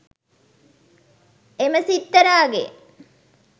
එම සිත්තරාගේ